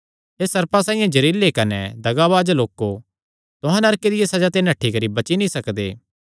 हे सर्पां साइआं जेहरिलै कने दगाबाज लोको तुहां नरके दिया सज़ा ते नठ्ठी करी बची नीं सकदे